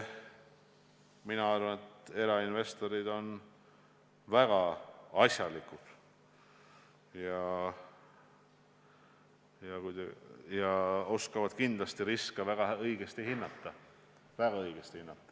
Mina arvan, et erainvestorid on väga asjalikud ja oskavad kindlasti riske väga õigesti hinnata.